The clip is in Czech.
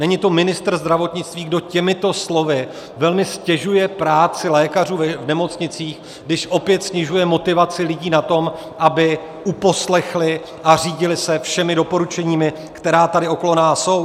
Není to ministr zdravotnictví, kdo těmito slovy velmi ztěžuje práci lékařů v nemocnicích, když opět snižuje motivaci lidí na tom, aby uposlechli a řídili se všemi doporučeními, která tady okolo nás jsou?